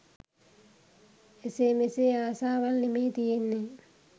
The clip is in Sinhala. එසේ මෙසේ ආසාවල් නෙමේ තියෙන්නේ